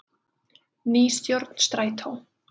Ný stjórn Strætó